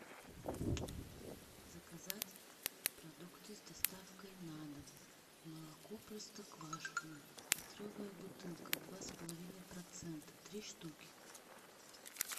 заказать продукты с доставкой на дом молоко простоквашино литровая бутылка два с половиной процента три штуки